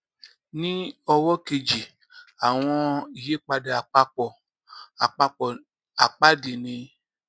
ní ọwó kejì àwọn ìyípadà àpapọ àpapọ àpáàdì ni